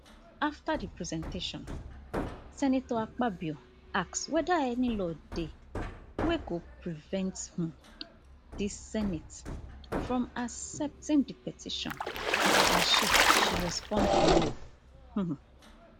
afta di presentation senator akpabio ask weda any law dey wey go prevent um di senate from accepting di petition and she she respond no um